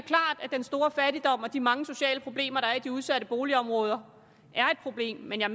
at den store fattigdom og de mange sociale problemer der er i de udsatte boligområder er et problem men jeg